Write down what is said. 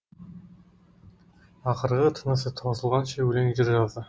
ақырғы тынысы таусылғанша өлең жыр жазды